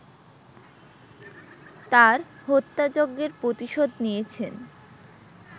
তার হত্যাযজ্ঞের প্রতিশোধ নিয়েছেন